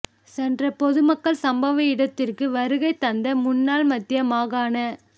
சென்ற பொதுமக்கள் சம்பவ இடத்திற்கு வருகை தந்த முன்னால் மத்திய மாகாண